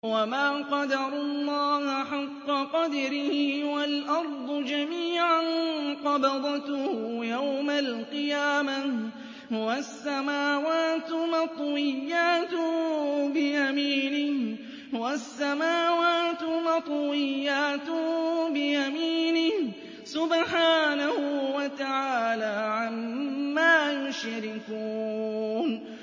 وَمَا قَدَرُوا اللَّهَ حَقَّ قَدْرِهِ وَالْأَرْضُ جَمِيعًا قَبْضَتُهُ يَوْمَ الْقِيَامَةِ وَالسَّمَاوَاتُ مَطْوِيَّاتٌ بِيَمِينِهِ ۚ سُبْحَانَهُ وَتَعَالَىٰ عَمَّا يُشْرِكُونَ